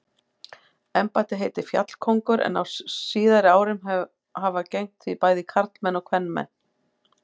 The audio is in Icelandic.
Embættið heitir fjallkóngur en á síðari árum hafa gegnt því bæði karlmenn og kvenmenn.